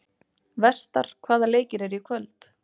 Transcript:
Vestar, hvaða leikir eru í kvöld?